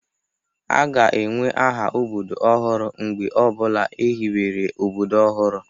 A ga-enwe aha obodo ọhụrụ mgbe ọ bụla ehibere obodo ọhụrụ.